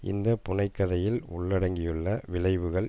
இந்த புனை கதையில் உள்ளடங்கியுள்ள விளைவுகள்